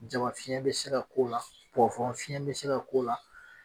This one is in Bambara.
Jama fiyɛn be se ka k'o la pɔwurɔn fiyɛn be se ka k'o la